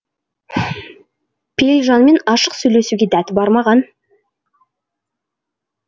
пейілжанмен ашық сөйлесуге дәті бармаған